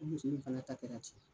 O muso nin fɛnɛ ta kɛra ten.